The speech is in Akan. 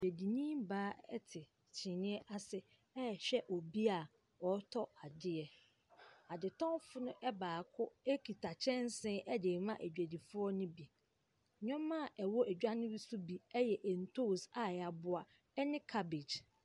Dwadini baa te kyiniiɛ ase rehwɛ obi a ɔretɔ adeɛ. Adetɔnfoɔ no baako kita kyɛnsee de rema adwadifoɔ no bi. Nneɛma a ɛwɔ edwa no bi so bi yɛ ntoosi a wɔaboa ne cabbage.